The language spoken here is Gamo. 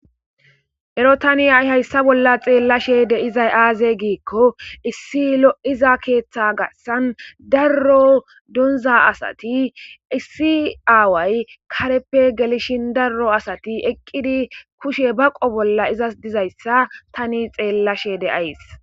ero tani h'ia hayssa bolla xeellashede izay aaze giikko issi lo7iza keeththa gassan darro donza asati issi aaway kareppe gelishin darro asati eqqidi kushe baqo bolla izas dizayssa tani xeellashede ays